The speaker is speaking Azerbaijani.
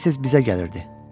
Tez-tez bizə gəlirdi.